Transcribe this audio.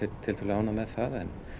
ánægð með það